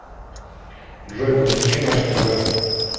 джой подключи наше тв